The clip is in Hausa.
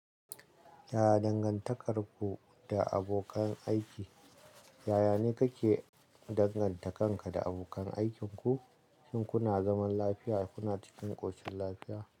Yaya dangantakarku da abokan aiki? Yaya ne kake danganta kanka da abokan aikinku? Shin kuna zaman lafiya kuna cikin ƙoshin lafiya?